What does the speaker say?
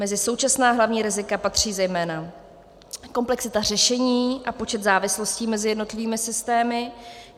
Mezi současná hlavní rizika patří zejména komplexita řešení a počet závislostí mezi jednotlivými systémy;